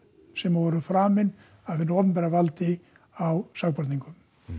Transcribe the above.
sem voru framin af hinu opinbera valdi á sakborningum